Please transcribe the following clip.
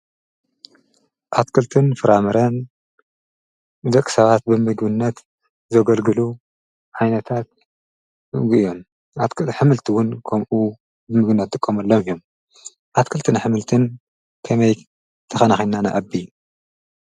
ኣትክልትን ፍራምርን ዘቕ ሰባት ብሚግብነት ዘገልግሉ ኃይነታት ጐእዮም ኣክል ሕምልትውን ከምኡ ብምግነቲ ቆምኣሎም እዩም ኣትክልትን ኃምልትን ከመይ ተኸናኺናነ ኣቢ